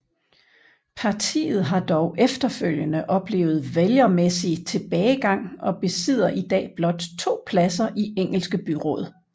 Partiet har dog efterfølgende oplevet vælgermæssig tilbagegang og besidder i dag blot to pladser i Engelske byråd